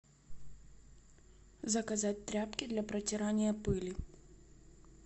заказать тряпки для протирания пыли